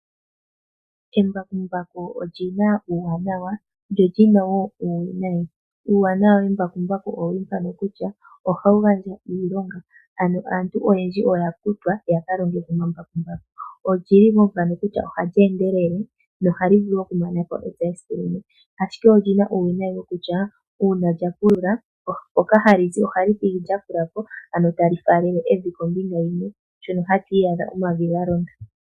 Embakumbaku oli na uuwanawa lyo li na wo uuwinayi. Uuwanawa wembakumbaku owo mbuka kutya ohali gandja iilonga, ano aantu oyendji oya kutwa opo ya ka longe momambakumbaku. Olyi li wo mpano kutya ohali endelele nohali vulu okumana ko epya mesiku limwe. Ashike oli na uuwinayi wokutya uuna lya pulula mpoka hali zi ohali thigi lya fula po, ano tali faalele evi kombinga yimwe shono hatu iyadha omavi ga londa.